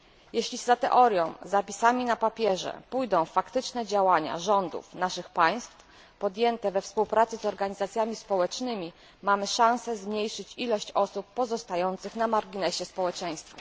Jeśli za teorią, zapisami na papierze pójdą faktyczne działania rządów naszych państw, podjęte we współpracy z organizacjami społecznymi, mamy szanse zmniejszyć ilość osób pozostających na marginesie społeczeństwa.